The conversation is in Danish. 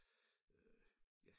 Øh ja